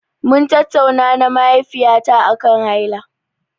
Mun tattauna na mahaifiyata aƙan haila.